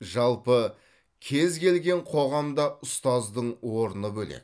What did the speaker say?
жалпы кез келген қоғамда ұстаздың орны бөлек